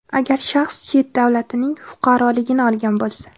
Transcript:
agar shaxs chet davlatning fuqaroligini olgan bo‘lsa.